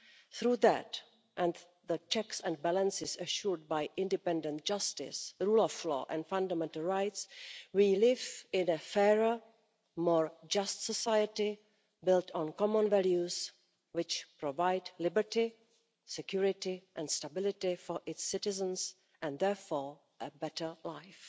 Through that and the checks and balances assured by independent justice, the rule of law and fundamental rights, we live in a fairer, more just society built on common values which provide liberty, security and stability for its citizens, and therefore a better life.